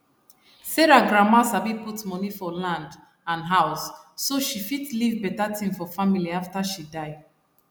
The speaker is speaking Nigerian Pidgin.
sarah grandma sabi put money for land and house so she fit leave better thing for family after she die